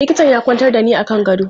Likitan ya kwantar da ni a kan gado.